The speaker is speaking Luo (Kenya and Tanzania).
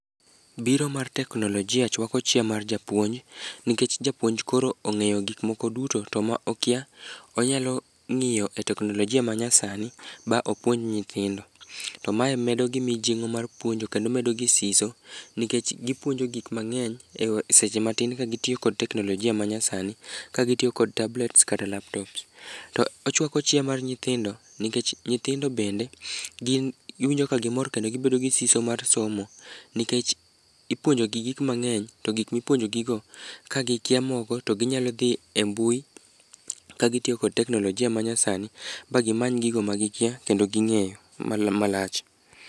Biro mar teknolojia chwako chia mar japuonj, nikech japounj koro ong'eyo gikmoko duto to ma okia, onyalo ng'iyo e teknolojia manyasani ba opuonj nyithindo. To mae medo gi mijing'o mar puonjo kendo medogi siso nikech gipuonjo gik mang'eny e seche matin ka gitiyo kod teknolojia manyasani, ka gitiyo kod tablets kata laptops. To ochwako chia mar nyithindo nikech nyithindo bende, gin giwinjo ka gimor kendo gibedo gi siso mar somo, nikech ipuonjogi gik mang'eny, to gik mipuonjogigo, ka gitemogo to ginyalo dhi e mbui, lkagitiyo kod teknolojia manyasani ba gimany gigo ma gikia kendo ging'eyo mana malach.